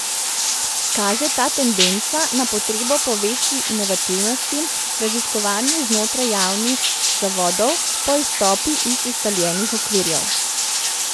Kaže ta tendenca na potrebo po večji inovativnosti, raziskovanju znotraj javnih zavodov, po izstopu iz ustaljenih okvirjev?